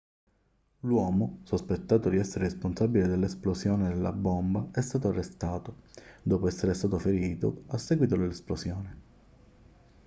l'uomo sospettato di essere il responsabile dell'esplosione della bomba è stato arrestato dopo essere stato ferito a seguito dell'esplosione